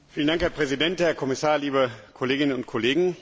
Herr Präsident, Herr Kommissar, liebe Kolleginnen und Kollegen!